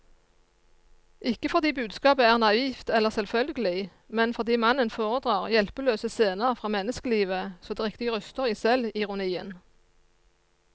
Ikke fordi budskapet er naivt eller selvfølgelig, men fordi mannen foredrar hjelpeløse scener fra menneskelivet så det riktig ryster i selvironien.